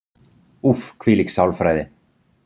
Úff, hvílík sálfræði.